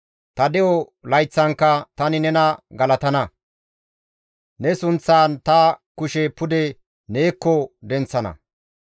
Ta de7o layththankka tani nena galatana; ne sunththan ta kushe pude neekko denththana.